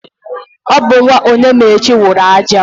Ọ bụ nwa Onyemaechi wụrụ aja.